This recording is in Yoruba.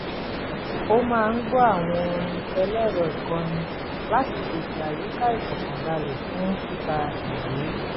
ó máa ń gbọ́ àwọn orin ẹlẹ́rọ-ìkọrin láti pèsè àyíká ìfọkànbalẹ̀ lfún kíka ìwé